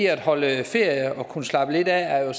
at holde ferie og kunne slappe lidt af er jo